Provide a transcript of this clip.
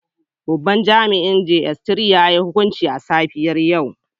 Babban jami'in na jss 3 ya yiwa yh hukunci a safiyar yau